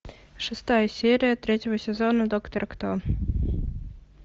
шестая серия третьего сезона доктор кто